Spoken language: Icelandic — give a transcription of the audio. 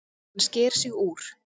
Hann sker sig úr.